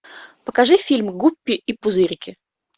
покажи фильм гуппи и пузырики